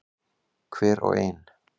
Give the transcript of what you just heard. Hver og ein.